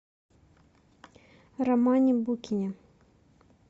романе букине